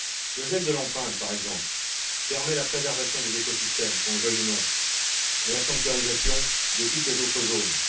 Le gel de l'empreinte, par exemple, permet la préservation des écosystèmes, qu'on le veuille ou non, et la sanctuarisation de toutes les autres zones.